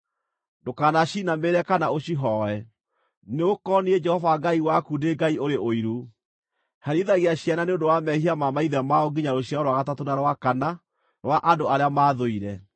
Ndũkanacinamĩrĩre kana ũcihooe, nĩgũkorwo niĩ Jehova Ngai waku ndĩ Ngai ũrĩ ũiru, herithagia ciana nĩ ũndũ wa mehia ma maithe mao nginya rũciaro rwa gatatũ na rwa kana rwa andũ arĩa maathũire,